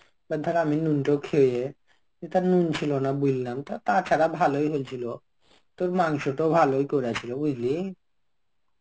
তা ধর আমি নুন তো খেয়ে, এটার নুন ছিল না বললাম তো তাছাড়া ভালোই হয়েছিল. তোর মাংস তো ভালোই করেছিল বুঝলি?